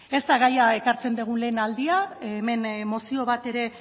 ez da gaia ekartzen dugun lehen aldia hemen mozio bat ere